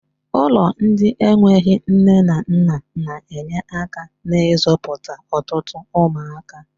Ụlọ ndị enweghị nne na nna na-enye aka n'izụputa ọtụtụ ụmụaka.